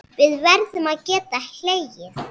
Við verðum að geta hlegið.